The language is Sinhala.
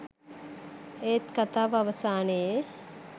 ඒත් කථාව අවසානයේ